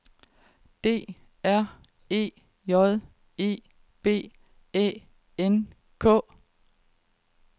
D R E J E B Æ N K